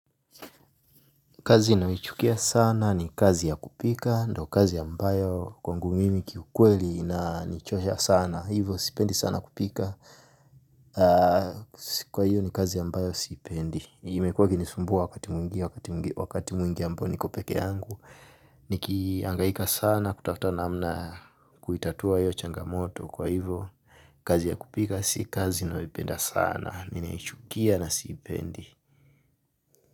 Kazi inaochukia sana ni kazi ya kupika, ndo kazi yambayo kwangu mimi kiukweli inanichosha sana, hivo sipendi sana kupika. Kwa hiyo ni kazi yambayo sipendi. Imekuwa kini sumbua wakati mwingi, wakati mwingi ambao niko peke yangu. Nikiangaika sana kutafta namna kuitatua iyo changamoto kwa hivo. Kazi ya kupika si kazi nayoipenda sana ninaichukia na siipendi.